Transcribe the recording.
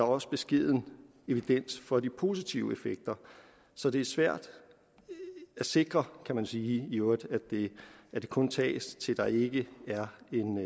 også beskeden evidens for de positive effekter så det er svært at sikre kan man sige i øvrigt at det kun tages til der ikke er